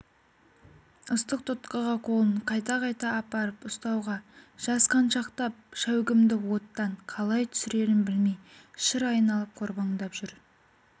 ыстық тұтқаға қолын қайта-қайта апарып ұстауға жасқаншақтап шәугімді оттан қалай түсірерін білмей шыр айналып қорбаңдап жүр